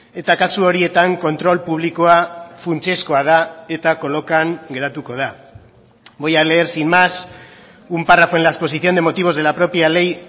eta kasu horietan kontrol publikoa funtsezkoa da eta kolokan geratuko da voy a leer sin más un párrafo en la exposición de motivos de la propia ley